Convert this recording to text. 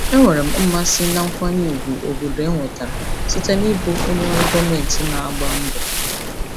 Enwere m mmasị na nkwanye ùgwù obodo enwetara site n'ịbụ onye ọrụ gọọmentị na-agba mbọ.